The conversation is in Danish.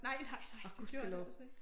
Nej nej nej det gjorde det altså ikke